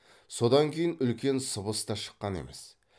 содан кейін үлкен сыбыс та шыққан емес